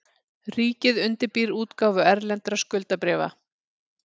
Ríkið undirbýr útgáfu erlendra skuldabréfa